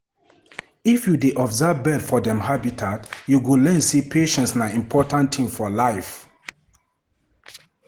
If you dey observe birds for dem habitat, you go learn sey patience na important thing for life.